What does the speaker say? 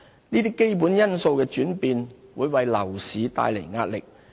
這些基本因素的轉變會為樓市帶來壓力。